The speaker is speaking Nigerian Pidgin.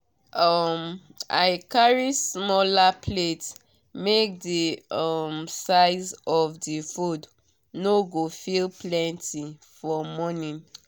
um i carry smaller plates make the um size of the food no go feel plenty for morning.